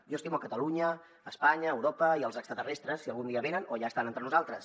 jo estimo catalunya espanya europa i els extraterrestres si algun dia venen o ja estan entre nosaltres